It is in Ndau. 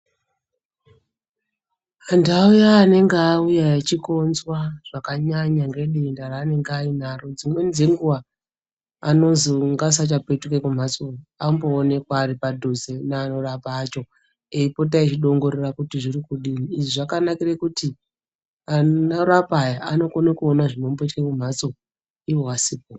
Antu aya anonga auya achikonzwa zvakanyanya ngedenda raanenge ainaro. Dzimweni dzenguva anozi ngasasapetuka kumhatso anomboonekwa ari padhuze neanorapa acho. Eipota echidongorera kuti zviri kudini, izvi zvakanakire kuti anorapa aya anokona kuona zvinomboitika mumhatso ivo asipo.